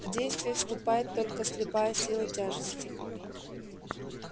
в действие вступает только слепая сила тяжести